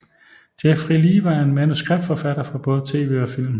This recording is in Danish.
Jeffrey Lieber er en manuskriptforfatter for både tv og film